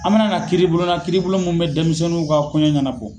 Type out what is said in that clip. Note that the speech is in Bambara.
A' mana na kiiribulon na kiibulon mun bɛ denmisɛnninw ka kɔɲa ɲɛnabɔ.